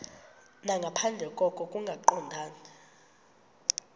nangaphandle koko kungaqondani